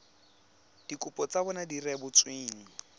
dikopo tsa bona di rebotsweng